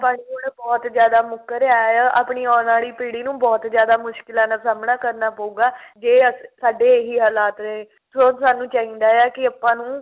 ਪਾਣੀ ਹੁਣ ਬਹੁਤ ਜਿਆਦਾ ਮੁੱਕ ਰਿਹਾ ਆਪਣੀ ਆਉਣ ਵਾਲੀ ਪੀੜੀ ਨੂੰ ਬਹੁਤ ਜ਼ਿਆਦਾ ਮੁਸ਼ਕਲਾ ਦਾ ਸਾਹਮਣਾ ਕਰਨਾ ਪਉਗਾ ਜੇ ਸਾਡੇ ਇਹੀ ਹਾਲਾਤ ਰਹੇ ਸਗੋਂ ਸਾਨੂੰ ਚਾਹੀਦਾ ਹੈ ਕਿ ਆਪਾਂ ਨੂੰ